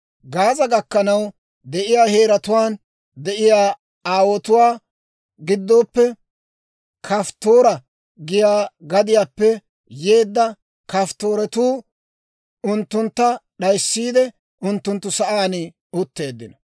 Gaaza gakkanaw de'iyaa heeratuwaan de'iyaa Aawotuwaa gidooppe, Kafttoora giyaa gadiyaappe yeedda Kafttooretuu unttuntta d'ayssiide, unttunttu sa'aan utteeddino.)